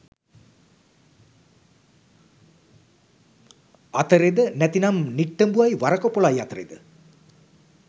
අතරෙද නැතිනම් නිට්ටඹුවයි වරකපොලයි අතරෙද?